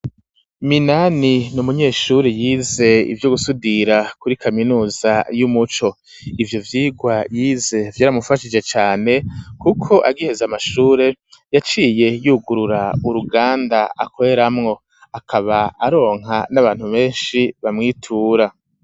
Minani n'umunyeshuri yize ivyo gusudira kuri kaminuza y'umuco, ivyo vyigwa yize vyaramufashije cane ,kuko agiheze amashure yaciye yugurura u ruganda akoreramwo, akaba aronka n'abantu benshi bamwitura.